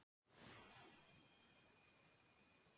Bændur hugi að auknum útflutningi